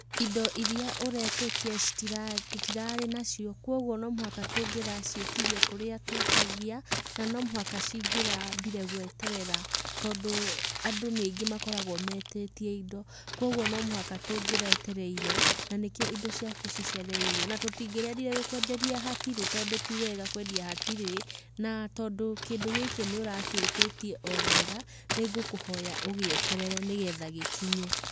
Indo irĩa ũretĩtie tũtirarĩ nacio kogwo no mũhaka tũngĩraciĩtirie kũrĩa twĩtagia na no mũhaka cingĩrambire gweterera tondũ andũ nĩ aingĩ makoragwo metĩtie indo kogwo no mũhaka tũngĩretereire na nĩkĩo indo ciaku cicereirwo, na tũtingĩrendire gũkwenderia hatirĩ tondũ ti wega kwendia hatirĩ. Na tondũ kĩndũ gĩkĩ nĩ ũragĩtĩtie o wega nĩngũkũhoya ũgĩeterere nĩgetha gĩkinye.